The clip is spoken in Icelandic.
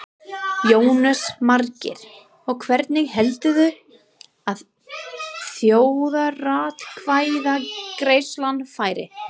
Jónas Margeir: Og hvernig heldurðu að þjóðaratkvæðagreiðslan fari?